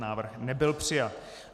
Návrh nebyl přijat.